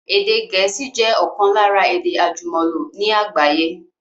Èdè Gẹ̀ẹ́sì jẹ ọ̀kan lára èdè àjùmọ̀lò ní àgbáyé